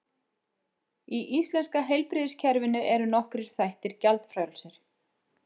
Í íslenska heilbrigðiskerfinu eru nokkrir þættir gjaldfrjálsir.